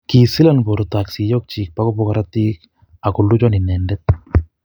kisilon porto ak siyoyik po kopwa korotik, agoluchon inendet.